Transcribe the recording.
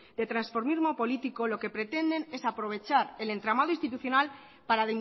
de transformismo político lo que pretenden es aprovechar el entramado institucional para